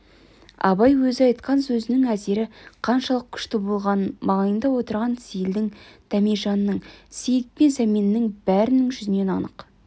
абай өзі айтқан сөзінің әсері қаншалық күшті болғанын маңайында отырған сейілдің дәмежанның сейіт пен сәменнің бәрінің жүзінен анық